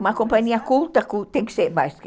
Uma companhia culta